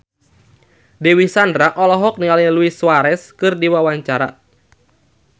Dewi Sandra olohok ningali Luis Suarez keur diwawancara